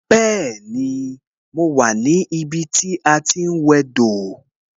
Bẹẹni, mo wà ní ibi tí a ti ń wẹ dò